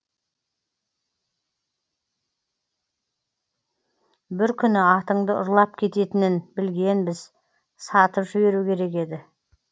бір күні атыңды ұрлап кететінін білгенбіз сатып жіберу керек еді